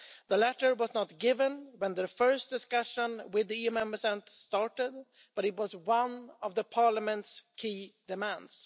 The latter was not a given when the first discussions with EU Member States started, but it was one of Parliament's key demands.